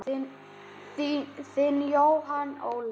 Þinn Jóhann Óli.